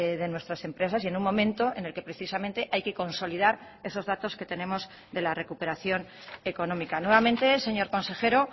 de nuestras empresas y en un momento en el que precisamente hay que consolidar esos datos que tenemos de la recuperación económica nuevamente señor consejero